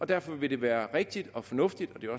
derfor vil det være rigtigt og fornuftigt det